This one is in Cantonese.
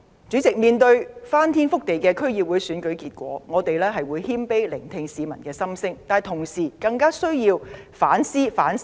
主席，面對翻天覆地的區議會選舉結果，我們會謙卑聆聽市民的心聲，但相比之下，特區政府絕對更需要反思反省。